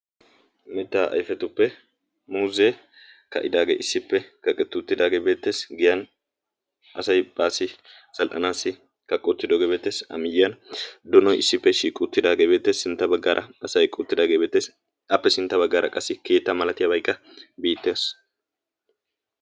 Mettaa ayfetuppe muuzee ka'idaagee issippe kaqettuttidaagee beettees giyan asai baasi zal''anaassi kaqqii uttidoogee beettessi a miyyiyan doono issippe shiiqi uttidaagee beette sintta baggaara asay uuttidaagee beettees appe sintta baggaara qassi keetta malatiyaabaykka beettees